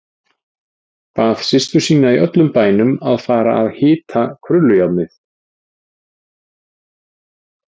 Bað systur sína í öllum bænum að fara að hita krullujárnið.